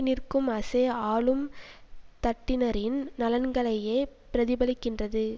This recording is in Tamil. நிற்கும் அசே ஆளும் தட்டினரின் நலன்களையே பிரதிபலிக்கின்றது